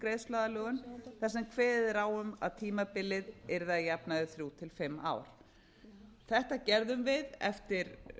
greiðsluaðlögun þar sem kveðið er á um að tímabilið yrði að jafnaði þrjú til fimm ár þetta gerðum við eftir